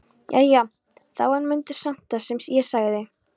Jæja þá en mundu samt það sem ég sagði.